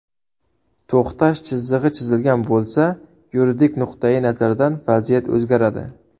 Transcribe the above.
To‘xtash chizig‘i chizilgan bo‘lsa , yuridik nuqtai nazardan vaziyat o‘zgaradi.